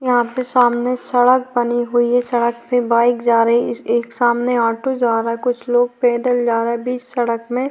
यहां पे सामने सड़क बनी हुई है सड़क पे बाइक जा रही है ए-एक सामने ऑटो जा रहा है कुछ लोग पैदल जा रहे है बीच सड़क में।